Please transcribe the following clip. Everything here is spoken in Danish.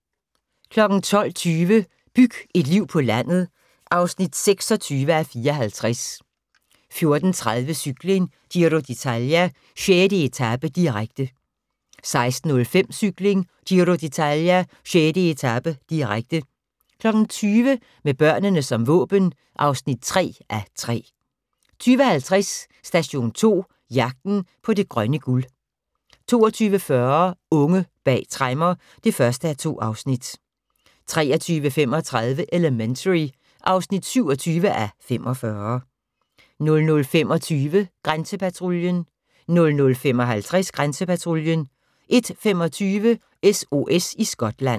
12:20: Byg et liv på landet (26:54) 14:30: Cykling: Giro d'Italia - 6. etape, direkte 16:05: Cykling: Giro d'Italia - 6. etape, direkte 20:00: Med børnene som våben (3:3) 20:50: Station 2: Jagten på det grønne guld 22:40: Unge bag tremmer (1:2) 23:35: Elementary (27:45) 00:25: Grænsepatruljen 00:55: Grænsepatruljen 01:25: SOS i Skotland